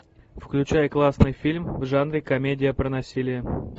включай классный фильм в жанре комедия про насилие